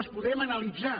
les podrem analitzar